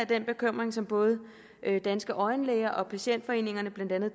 den bekymring som både danske øjenlægers organisation og patientforeningerne blandt andet